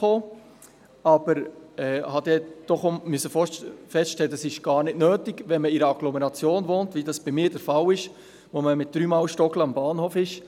Ich musste dann aber doch auch feststellen, dass das gar nicht nötig ist, wenn man in einer Agglomeration wohnt, wie das bei mir der Fall ist, wo man mit drei Mal stolpern schon am Bahnhof ist.